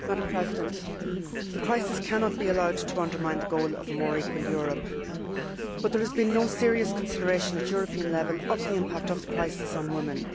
Madam President, the crisis cannot be allowed to undermine the goal of a more equal Europe, but there has been no serious consideration at European level of the impact of the crisis on women.